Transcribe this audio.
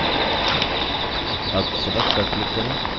अब select पर click करें